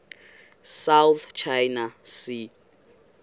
south china sea